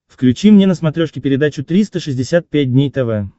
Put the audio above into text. включи мне на смотрешке передачу триста шестьдесят пять дней тв